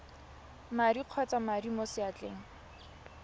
madi kgotsa madi mo seatleng